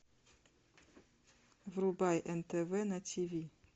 врубай нтв на тиви